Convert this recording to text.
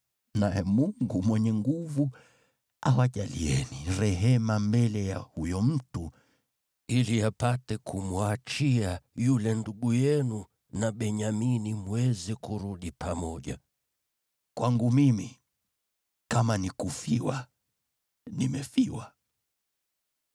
Naye Mungu Mwenyezi awajalieni rehema mbele ya huyo mtu ili apate kumwachia yule ndugu yenu na Benyamini mweze kurudi pamoja. Kwangu mimi kama nikufiwa nimefiwa.”